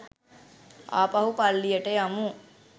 ආපහු පල්ලියට යමු.